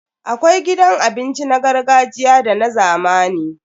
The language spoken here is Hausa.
Akwai gidan abinci na gargajiya da na zamani.